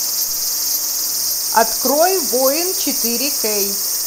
открой воин четыре кей